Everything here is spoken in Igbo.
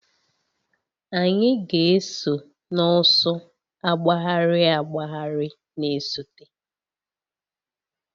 Anyị ga-eso n'ọsọ agbagharị agbagharị na-esote